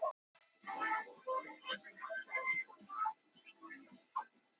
Eirún, syngdu fyrir mig „Auður“.